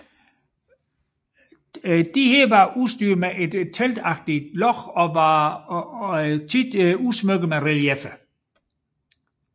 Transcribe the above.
Disse var udstyret med et teltagtigt låg og ofte udsmykket med relieffer